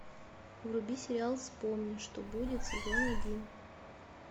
вруби сериал вспомни что будет сезон один